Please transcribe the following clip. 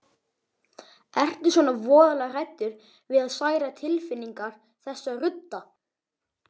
Ertu svona voðalega hræddur við að særa tilfinningar þessa rudda?